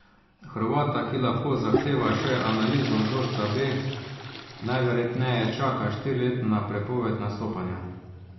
Hrvata, ki lahko zahteva še analizo vzorca B, najverjetneje čaka štiriletna prepoved nastopanja.